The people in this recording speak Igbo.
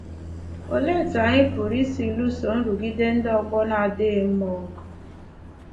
Olee etu anyị pụrụ isi lụso nrụgide ndị ọgbọ n'adịghị mma ọgụ?